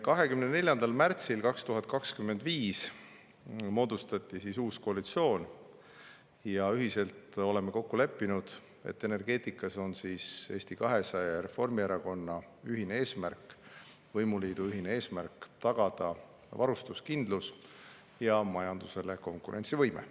24. märtsil 2025 moodustati uus koalitsioon ja oleme kokku leppinud, et energeetikas on Eesti 200 ja Reformierakonna võimuliidu ühine eesmärk tagada varustuskindlus ja majanduse konkurentsivõime.